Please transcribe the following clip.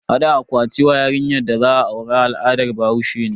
Hada akwati ma yarinyar da za a aura al'adar bahaushe ne.